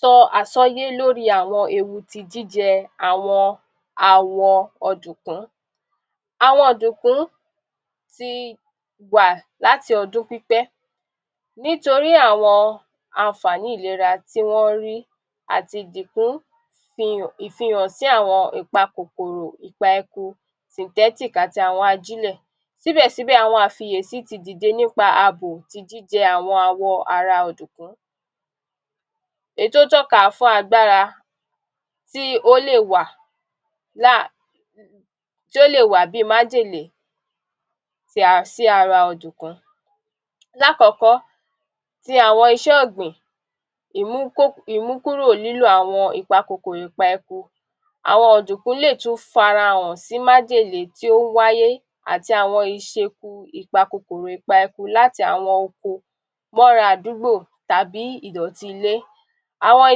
Sọ àsọyé l'óri àwọn ewu ti jíjẹ àwọn awọ ọ̀dùkún; Àwọn ọ̀dùkún ti wà láti ọdún pípẹ́, nítorí àwọn anfàní ìlera tí wọ́n rí àt'ìdìkún fi hàn ìfìhànsí àwọn ìpa kòkòrò ipa eku synthetic àti àwọn ajílẹ̀, síbẹsíbẹ̀ àwọn àfìyèsí ti dìde nípa àbò ti jíjẹ àwọn awọ ara ọ̀dùkún èyí tó tọ́ka fún agbára tí ó lè wà láa tí ó lè wà bíi májèlé sí ara ọ̀dùkún. L'ákọ̀ọ́kọ́, ti àwọn iṣẹ́ ọ̀gbìn imúkó imú kúrò lílo àwọn ìpa kòkòrò ìpa eku àwọn ọ̀dùkún lè tún f'ara hàn sí májèlé tí ó ń wáyé àti àwọn iṣeku ìpa eku ìpa kòkòrò láti àwọn oko m'ọ́ra àdúgbò tàbí ìdọ̀tí ilé àwọn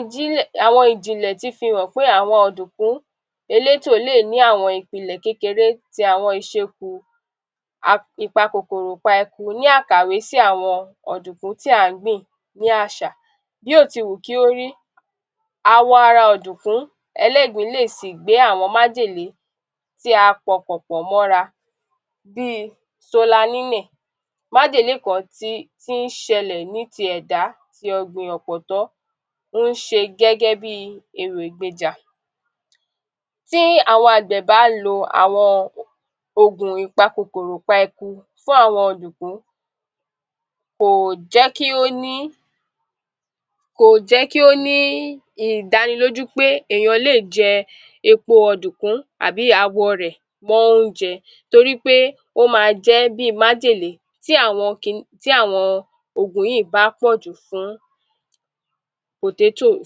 ijínlẹ̀ àwọn ìjìnlẹ̀ ti fi hàn pé àwọn ọ̀dùkún elétò lè ní àwọn ìpìlẹ̀ kékeré ti àwọn ìṣekù ipa kòkòrò pa eku ní àkàwé sí àwọn ọ̀dùkún tí à ń gbìn gbé àṣà, bí ò ti wù kí ó rí, awọ ara ọ̀dùkún ẹl'ẹ́gbin lè sì gbé àwọn májèlé tí a pọkàn pọ̀ m'ọ́ra bíi solanínẹ̀ májèlé kan tí ń ṣẹlẹ̀ ní ti ẹ̀dá tì ọ̀gbìn ọ̀pọ̀tọ́ ń ṣe gẹ́gẹ́ bíi ewègbejà. Tí àwọn àgbẹ̀ bá lo àwọn Ògùn ìpa kòkòrò ìpa eku fún àwọn ọ̀dùkún kò jẹ́ kí ó ní kò jẹ́ kí ó ní ìdánilójú pé èyán lè jẹ epo ọ̀dùkún tàbí awọ rẹ̀ mọ́ Ónjẹ torí pé ó ma jẹ́ bíi májèlé tí àwọn kin tí àwọn Ògùn yíì bá pọ̀ jù fún potatoe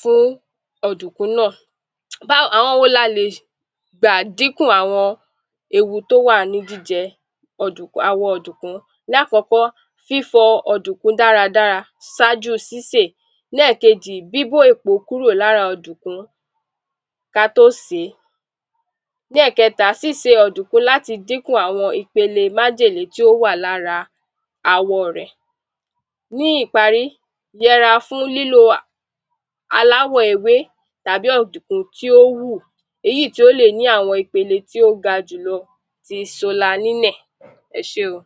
fún ọ̀dùkún náà bá àwọn wo la lè gbà díkùn àwọn ewu tó wà ní jíjẹ ọ̀dùk awọ ọ̀dùkún?. Lákọ̀ọ́kọ́, fífọ ọ̀dùkún dáradára sájú u sísè, lẹ́ẹ̀kejì, bíbó èpó kúrò l'ára ọ̀dùkún ká tó sèé, lẹ́ẹ̀kẹta, síse ọ̀dùkún láti dínkù àwọn ipele májèlé tí ó wà l'ára awọ rẹ̀. Ní ìparí, y'ẹra fún lílo [a] aláwọ̀ ewé tàbí ọ̀dùkún tí ó wù èyíì tí ó lè ní àwọn ipele tí ó ga jù lọ ti solanínẹ̀.Ẹ ṣé o.